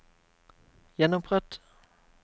gjenopprett